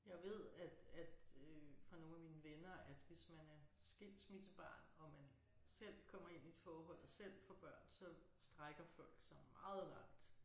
Jeg ved at at øh fra nogle af mine venner at hvis man er skilsmissebarn og man selv kommer ind i et forhold selv får børn så strækker folk sig meget langt